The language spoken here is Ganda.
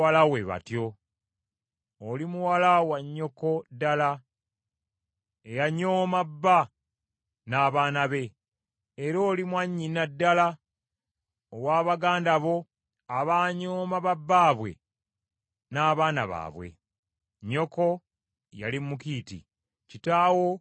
Oli muwala wa nnyoko ddala, eyanyooma bba n’abaana be, era oli mwannyina ddala owa baganda bo abanyooma ba bbaabwe n’abaana baabwe. Nnyoko yali Mukiiti, kitaawo nga Mwamoli.